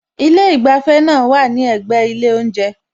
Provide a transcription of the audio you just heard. Ilé ìgbafẹ́ náà wá à ní ẹ̀gbẹ́ ilé oúnjẹ